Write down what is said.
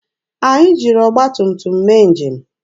Anyị jiri ọgba tum tum mee njem.